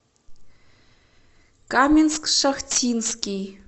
каменск шахтинский